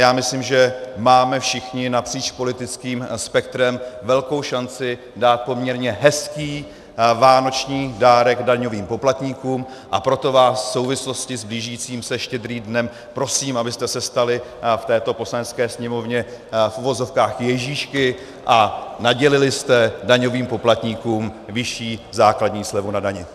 Já myslím, že máme všichni napříč politickým spektrem velkou šanci dát poměrně hezký vánoční dárek daňovým poplatníkům, a proto vás v souvislosti s blížícím se Štědrým dnem prosím, abyste se stali v této Poslanecké sněmovně v uvozovkách Ježíšky a nadělili jste daňovým poplatníkům vyšší základní slevu na dani.